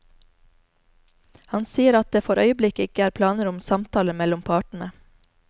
Han sier at det for øyeblikket ikke er planer om samtaler mellom partene.